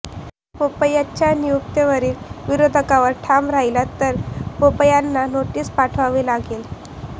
बोपय्यांच्या नियुक्तीवरील विरोधावर ठाम राहिलात तर बोपय्यांना नोटीस पाठवावी लागेल